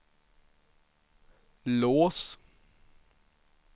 lås